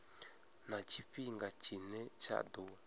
na tshifhinga tshine tsha ḓo